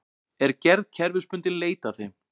Er gerð kerfisbundinn leit að þeim